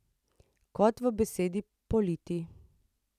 Kot v besedi politi.